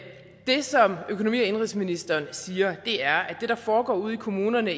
det som økonomi og indenrigsministeren siger er at det der foregår ude i kommunerne